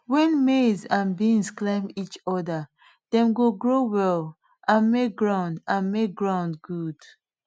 when maize and beans climb each other dem go grow well and make ground and make ground good